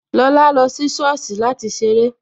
Lọlá lọ sí sọ́ọ̀sì láti ṣeré